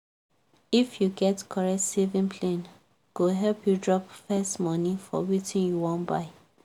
if you get correct saving plane go help you drop first money for wetin you wan buy.